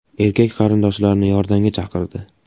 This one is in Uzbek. Erkak qarindoshlarni yordamga chaqirdi.